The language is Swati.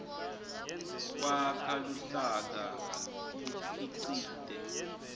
kwakha luhlaka bukhicite